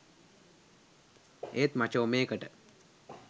ඒත් මචෝ මේකට